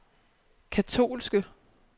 katolske